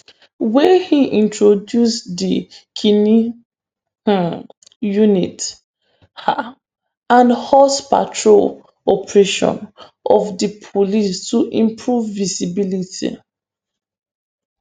wey im introduce di knine um unit um and horse patrol operation of di police to improve visibility